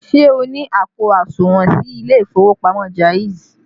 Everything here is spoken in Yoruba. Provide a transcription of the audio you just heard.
Ṣé o ní àpò àsùnwọ̀n sí ilé ìfowópamọ́ Jaiz?